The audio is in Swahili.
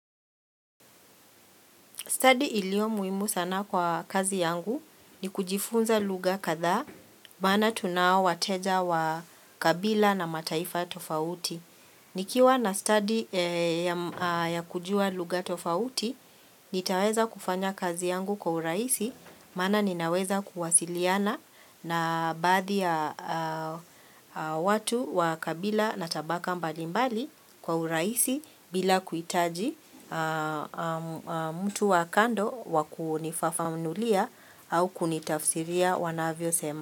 Stadi iliyo muhimu sana kwa kazi yangu ni kujifunza lugha kadhaa maana tuna wateja wa kabila na mataifa tofauti. Nikiwa na stadi ya kujua lugha tofauti, nitaweza kufanya kazi yangu kwa urahisi, maana ninaweza kuwasiliana na baadhi ya watu wa kabila na tabaka mbalimbali kwa urahisi bila kuhitaji mtu wa kando wa wakunifafamulia au kunitafsiria wanavyosema.